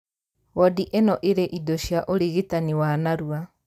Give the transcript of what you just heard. Wondi ĩno ĩrĩ indo cia ũrigitani wa narua